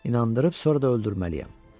İnandırıb, sonra da öldürməliyəm.